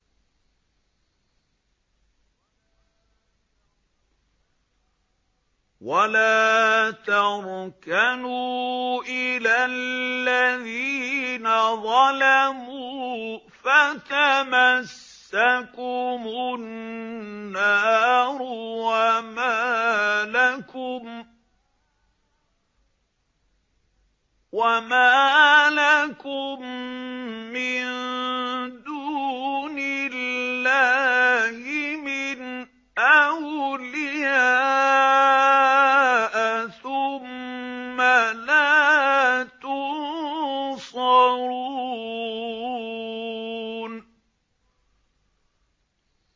وَلَا تَرْكَنُوا إِلَى الَّذِينَ ظَلَمُوا فَتَمَسَّكُمُ النَّارُ وَمَا لَكُم مِّن دُونِ اللَّهِ مِنْ أَوْلِيَاءَ ثُمَّ لَا تُنصَرُونَ